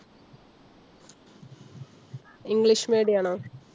english medium ആണോ?